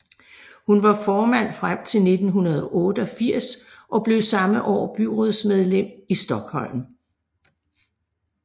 Hun var formand frem til 1988 og blev samme år byrådsmedlem i Stockholm